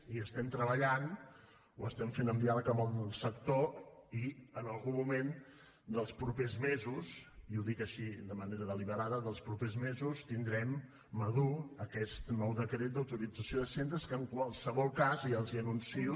hi treballem ho fem amb diàleg amb el sector i en algun moment dels propers mesos i ho dic així de manera deliberada dels propers mesos tindrem madur aquest nou decret d’autorització de centres que en qualsevol cas ja els anuncio